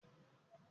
Kòkòrò wọ inú etí rẹ̀